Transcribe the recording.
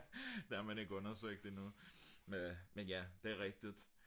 det har man ikke undersøgt endnu men ja det rigtigt